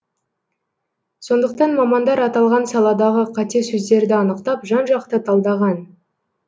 сондықтан мамандар аталған саладағы қате сөздерді анықтап жан жақты талдаған